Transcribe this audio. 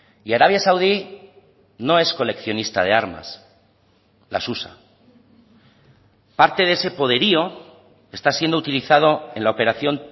y arabia saudí no es coleccionista de armas las usa parte de ese poderío está siendo utilizado en la operación